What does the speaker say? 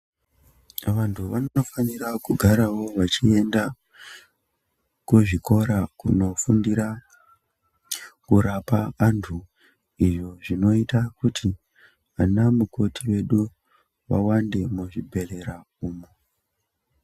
Vantu vanofanira kugarawo vechienda ,kuzvikora kunofundira ,kurapa antu iyo, zvinoita kuti anamukoti edu ,vawande muzvibhedhlera umu.